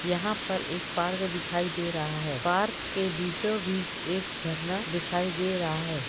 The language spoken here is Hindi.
यहाँ एक पार्क दिखाई दे रहा है पार्क के बीचो बीच एक झरना दिखाई दे रहा है।